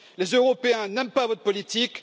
Les Européens n'aiment pas votre politique.